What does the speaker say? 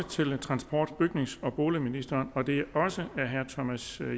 til transport bygnings og boligministeren og det er også af herre thomas